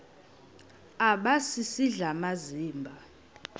aba sisidl amazimba